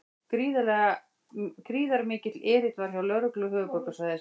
Gríðarmikill erill var hjá lögreglu höfuðborgarsvæðisins